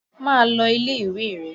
Máa lọ ilé-ìwé rẹ!